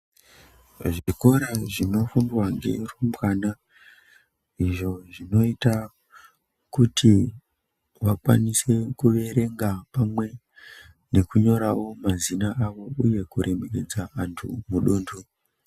Zvikora zvinofundwa ngerumbwana izvo zvinoita kuti vakwanise kuverenga pamweni nekunyorawo mazina avo uye kuremeredza vantu muduntu.